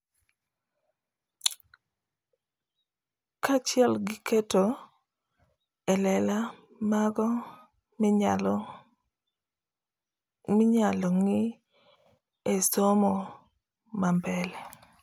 Ka achiel gi keto e lela mago minyalo ng'i e somo ma mbele